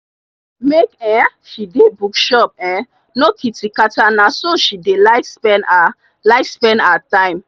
make um she dey bookshop um no kitikata nah so she dey like spend her like spend her time.